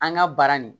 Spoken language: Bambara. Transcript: An ka baara nin